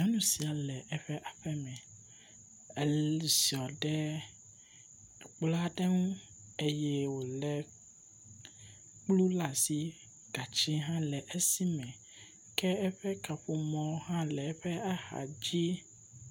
nyɔnu sia le eƒe aƒeme eziɔ ɖe kplɔaɖe ŋu eye wòle kplu la'si gatsi hã nɔ esime ke eƒe kaƒomɔ hã le eƒe axadzi